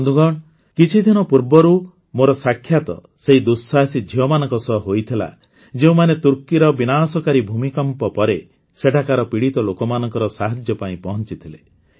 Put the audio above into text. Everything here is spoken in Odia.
ବନ୍ଧୁଗଣ କିଛିଦିନ ପୂର୍ବରୁ ମୋର ସାକ୍ଷାତ୍ ସେହି ଦୁଃସାହସୀ ଝିଅମାନଙ୍କ ସହ ହୋଇଥିଲା ଯେଉଁମାନେ ତୁର୍କୀର ବିନାଶକାରୀ ଭୂମିକମ୍ପ ପରେ ସେଠାକାର ପୀଡ଼ିତ ଲୋକମାନଙ୍କର ସାହାଯ୍ୟ ପାଇଁ ପହଂଚିଥିଲେ